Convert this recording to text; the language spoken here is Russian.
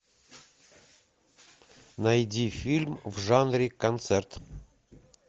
найди фильм в жанре концерт